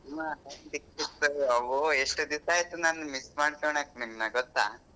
ಎಷ್ಟ್ ದಿವಸಾ ಆಯ್ತು ನಾನ್ miss ಮಾಡ್ಕೊಣಾಕ್ ನಿಮ್ನ ಗೊತ್ತ.